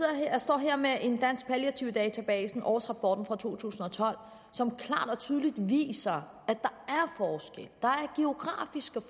jeg står her med dansk palliativ database årsrapport to tusind og tolv som klart og tydeligt viser at der der er geografiske